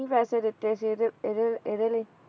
ਪੈਸੇ ਦਿੱਤੇ ਸੀ ਇਹਦੇ ਇਹਦੇ ਇਹਦੇ ਲਈ